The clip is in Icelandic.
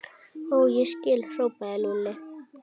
Ó, ég skil! hrópaði Lúlli.